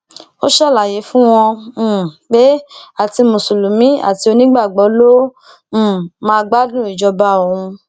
ó ṣàlàyé fún wọn um pé àti mùsùlùmí àti onígbàgbọ ló um má gbádùn ìjọba òun